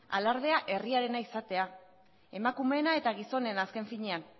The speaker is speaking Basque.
alardea herriarena izatea emakumeena eta gizonena azken finean